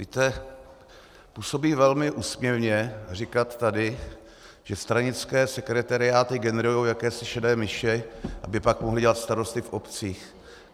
Víte, působí velmi úsměvně říkat tady, že stranické sekretariáty generují jakési šedé myši, aby pak mohly dělat starosty v obcích.